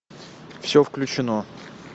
все включено